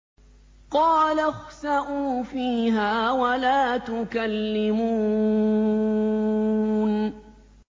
قَالَ اخْسَئُوا فِيهَا وَلَا تُكَلِّمُونِ